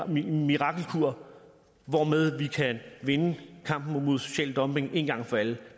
mirakelkur hvormed vi kan vinde kampen mod social dumping én gang for alle